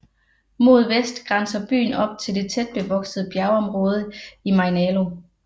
Mod vest grænser byen op til det tætbevoksede bjergområde Mainalo